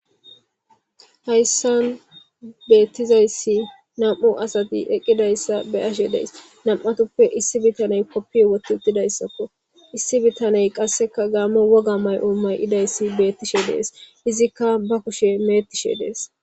Hayisan betizayisi na,mu asati eqizayisa beashe dayis na,matuppe issi bitane kopiye wotizayisako issi bitane qassika gamo woga mayo ma,izayisi betish de,ees izika ba kushe me,etishe dees